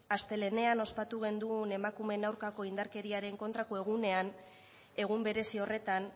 astelehenean ospatu genuen emakumeen aurkako indarkeriaren kontrako egunean egun berezi horretan